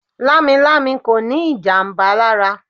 Lamilami kò ní ìjàmbá lára.